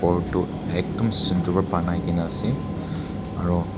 ghor toh ekdum sundur wa banaigene ase aro.